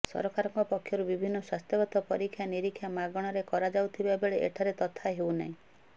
ସରକାରଙ୍କ ପକ୍ଷରୁ ବିଭିନ୍ନ ସ୍ୱାସ୍ଥ୍ୟଗତ ପରୀକ୍ଷା ନିରୀକ୍ଷା ମାଗଣାରେ କରାଯାଉଥିବା ବେଳେ ଏଠାରେ ତଥା ହେଉନାହିଁ